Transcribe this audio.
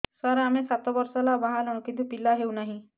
ସାର ଆମେ ସାତ ବର୍ଷ ହେଲା ବାହା ହେଲୁଣି କିନ୍ତୁ ପିଲା ହେଉନାହିଁ